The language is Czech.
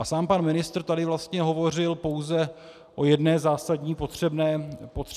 A sám pan ministr tady vlastně hovořil pouze o jedné zásadní potřebné změně.